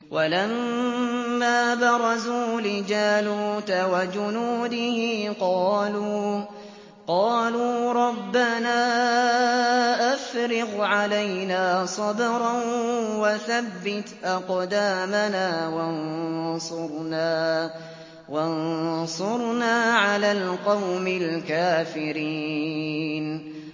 وَلَمَّا بَرَزُوا لِجَالُوتَ وَجُنُودِهِ قَالُوا رَبَّنَا أَفْرِغْ عَلَيْنَا صَبْرًا وَثَبِّتْ أَقْدَامَنَا وَانصُرْنَا عَلَى الْقَوْمِ الْكَافِرِينَ